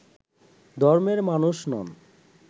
ধর্মের মানুষ নন